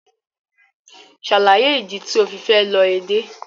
Ṣe alaye idi ti o fi fẹ lọ Ede!